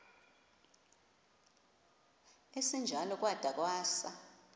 esinjalo kwada kwasa